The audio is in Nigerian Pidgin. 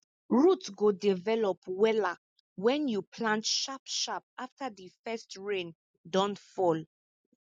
root go develop wella wen you plant sharp sharp afta di first rain don fall